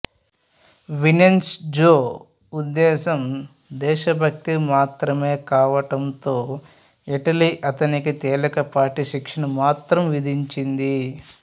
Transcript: Vincenzo ఉద్దేశ్యం దేశభక్తి మాత్రమే కావటంతో ఇటలీ అతనికి తేలికపాటి శిక్షను మాత్రం విధించింది